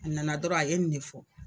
A nana dɔrɔn a ye nin ne fɔ.